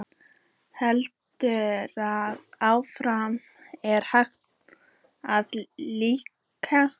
Heldur það áfram að hækka þar líka?